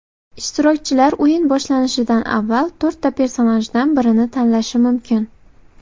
Ishtirokchilar o‘yin boshlanishidan avval to‘rtta personajdan birini tanlashi mumkin.